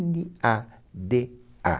Ene a de a